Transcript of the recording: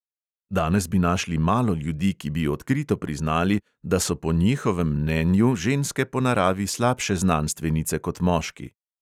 Danes bi našli malo ljudi, ki bi odkrito priznali, da so po njihovem mnenju ženske po naravi slabše znanstvenice kot moški.